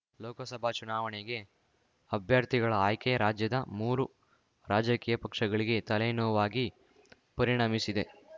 ಲೋಕಸಭಾ ಚುನಾವಣೆಗೆ ಅಭ್ಯರ್ಥಿಗಳ ಆಯ್ಕೆ ರಾಜ್ಯದ ಮೂರು ರಾಜಕೀಯ ಪಕ್ಷಗಳಿಗೆ ತಲೆನೋವಾಗಿ ಪರಿಣಮಿಸಿದೆ